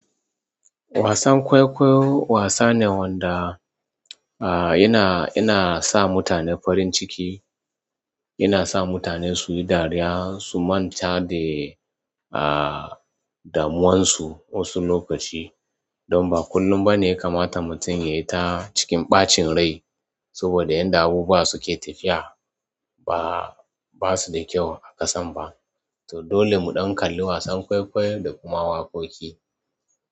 Wasan kwaikwayo wasa ne wanda a yana, yana sa mutane farin ciki, yana sa mutane su yi dariya, su manta da a damuwarsu wasu lokaci. Don ba kullum ba ne ya kamata mutum ya yi ta cikin ɓacin rai saboda yan da abubuwa suke tafiya ba, ba su da kyau a ƙasan ba. To dole mu ɗan kalla wasan kwaikwayo da kuma waƙoƙi.